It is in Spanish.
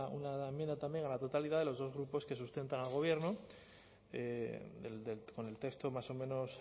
una enmienda a la totalidad de los dos grupos que sustentan al gobierno con el texto más o menos